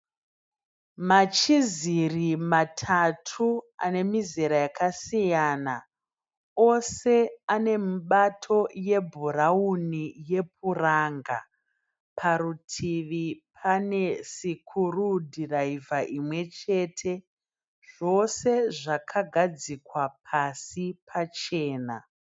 Machiziri matatu ane mizera yakasiyana. Ose ane mibato yebhurauni yepuranga. Parutivi pane sikurudhiraivha imwechete, zvose zvakagadzikwa pasi pachena.